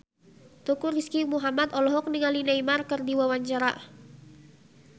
Teuku Rizky Muhammad olohok ningali Neymar keur diwawancara